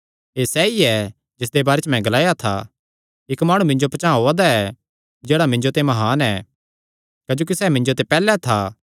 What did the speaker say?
एह़ सैई ऐ जिसदे बारे च मैं ग्लाया था इक्क माणु मिन्जो पचांह़ ओआ दा ऐ जेह्ड़ा मिन्जो ते म्हान ऐ क्जोकि सैह़ मिन्जो ते पैहल्ले था